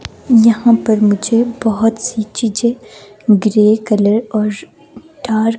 यहां पर मुझे बहुत सी चीजें ग्रे कलर और--